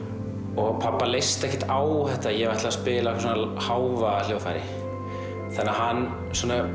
og pabba leist ekkert á þetta að ég ætlaði að spila á eitthvað svona hávaðahljóðfæri þannig að hann